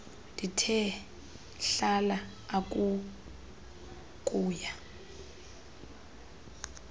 ndithe hlala akuukuya